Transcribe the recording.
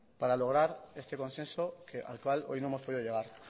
para lograr este consenso que al cual hoy no hemos podido llegar